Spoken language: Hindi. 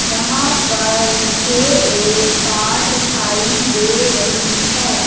यहां पर मुझे एक कार दिखाई दे रही है।